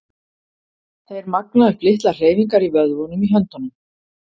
Þeir magna upp litlar hreyfingar í vöðvunum í höndunum.